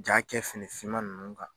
Ja kɛ fini fiman nunnu kan